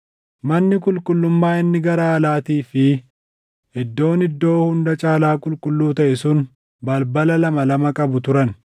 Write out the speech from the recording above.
Manni qulqullummaa inni gara alaatii fi Iddoon Iddoo Hunda Caalaa Qulqulluu taʼe sun balbala lama lama qabu turan.